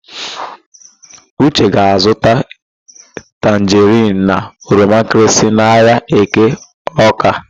Uche ga-azụta tanjerịn na oromankịrịsị n'ahịa Eke Ọ́ká.